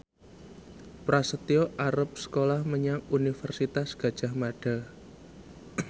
Prasetyo arep sekolah menyang Universitas Gadjah Mada